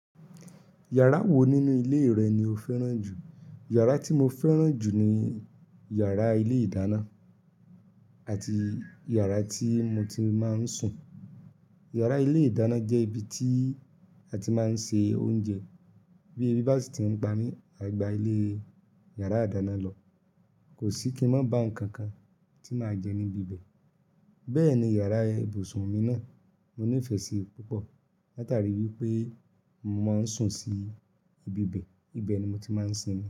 Yàrá wo nínú ilé rẹ ni o fẹ́ràn jù? Yàrá tí mo fẹ́ràn jù ni yàrá ilé ìdáná àti yàrá tí mo ti máa ń sùn. Yàrá ilé ìdáná jẹ́ ibi tí a ti máa ń ṣe oúnjẹ, bí ẹbí bá sì ti ń pa mí àgbà ilé yàrá ìdáná lọ, kò sí kí ń má bá nǹkan kan tí màá jẹ níbi bẹ́ẹ̀. Bẹ́ẹ̀ ni yàrá ibùsùn mi náà, mo nífẹ̀ẹ́ sí i púpọ̀ látàrí wípé mo máa ń sùn sí ibi bẹ́ẹ̀, ibẹ̀ ni mo ti máa ń sinmi.